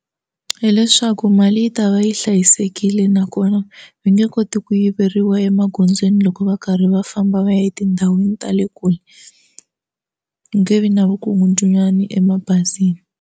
Hi leswaku mali yi ta va yi hlayisekile nakona va nge koti ku yiveriwa emagondzweni loko va karhi va famba va ya etindhawini ta le kule ku nge vi na vukungundzwani emabazini.